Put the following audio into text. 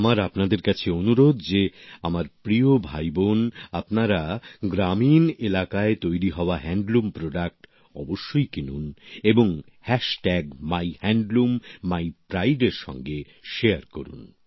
আমার আপনাদের কাছে অনুরোধ যে আমার প্রিয় ভাইবোন আপনারা গ্রামীণ এলাকায় তৈরি হওয়া তাঁত শিল্পের সামগ্রী অবশ্যই কিনুন এবং হ্যাশট্যাগ মাইহ্যাণ্ডলুমমাইপ্রাইডের সঙ্গে শেয়ার করুন